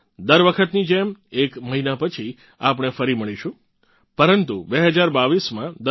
દર વખતની જેમ એક મહિના પછી આપણે ફરી મળીશું પરંતુ 2022માં